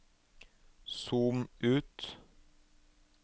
zoom ut